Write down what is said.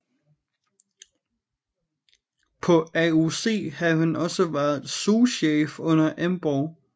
På AOC havde han også været souschef under Emborg